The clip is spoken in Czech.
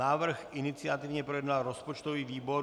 Návrh iniciativně projednal rozpočtový výbor.